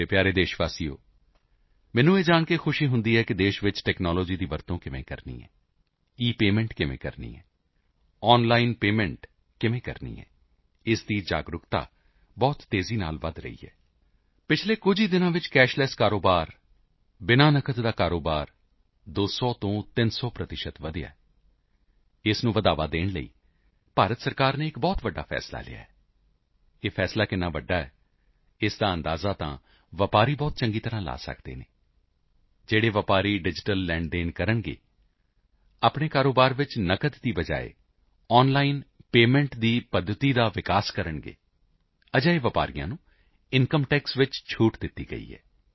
ਮੇਰੇ ਪਿਆਰੇ ਦੇਸ਼ ਵਾਸੀਓ ਮੈਨੂੰ ਇਹ ਜਾਣ ਕੇ ਖ਼ੁਸ਼ੀ ਹੁੰਦੀ ਹੈ ਕਿ ਦੇਸ਼ ਵਿੱਚ ਟੈਕਨਾਲੋਜੀ ਦਾ ਉਪਯੋਗ ਕਿਵੇਂ ਕਰਨਾ ਇਪੇਮੈਂਟ ਕਿਵੇਂ ਕਰਨੀ ਆਨਲਾਈਨ ਪੇਮੈਂਟ ਕਿਵੇਂ ਕਰਨੀ ਇਸ ਦੀ ਜਾਗਰੂਕਤਾ ਬਹੁਤ ਤੇਜ਼ੀ ਨਾਲ ਵਧ ਰਹੀ ਹੈ ਪਿਛਲੇ ਕੁਝ ਹੀ ਦਿਨਾਂ ਵਿੱਚ ਕੈਸ਼ਲੈੱਸ ਕਾਰੋਬਾਰ ਬਿਨਾ ਨਕਦ ਦਾ ਕਾਰੋਬਾਰ 200 ਤੋਂ 300 ਵਧਿਆ ਹੈ ਇਸ ਨੂੰ ਹੱਲਾਸ਼ੇਰੀ ਦੇਣ ਲਈ ਭਾਰਤ ਸਰਕਾਰ ਨੇ ਇੱਕ ਬਹੁਤ ਵੱਡਾ ਫ਼ੈਸਲਾ ਲਿਆ ਹੈ ਇਹ ਫ਼ੈਸਲਾ ਕਿੰਨਾ ਵੱਡਾ ਹੈ ਇਸ ਦਾ ਅੰਦਾਜ਼ਾ ਤਾਂ ਵਪਾਰੀ ਬਹੁਤ ਵਧੀਆ ਤਰੀਕੇ ਨਾਲ ਲਾ ਸਕਦੇ ਹਨ ਜੋ ਵਪਾਰੀ ਡਿਜੀਟਲ ਲੇਣਦੇਣ ਕਰਨਗੇ ਆਪਣੇ ਕਾਰੋਬਾਰ ਵਿੱਚ ਨਕਦ ਦੀ ਥਾਂ ਆਨਲਾਈਨ ਪੇਮੈਂਟ ਦੀ ਪੱਧਤੀ ਵਿਕਸਤ ਕਰਨਗੇ ਅਜਿਹੇ ਵਪਾਰੀਆਂ ਨੂੰ ਇਨਕਮ ਟੈਕਸ ਵਿੱਚ ਛੋਟ ਦੇ ਦਿੱਤੀ ਗਈ ਹੈ